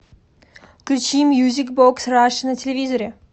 включи мьюзик бокс раша на телевизоре